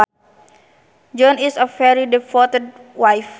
Joanne is a very devoted wife